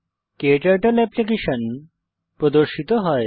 ক্টার্টল application প্রর্দশিত হয়